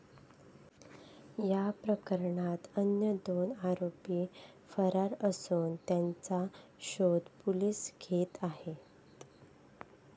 या प्रकरणात अन्य दोन आरोपी फरार असून त्यांचा शोध पोलीस घेत आहेत.